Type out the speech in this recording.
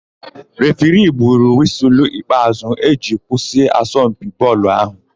Refiri gburu wịsụlụ ikpeàzụ́ iji kwụsị asọmpi bọọlụ áhụ̀.